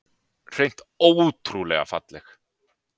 Hreint ótrúlega falleg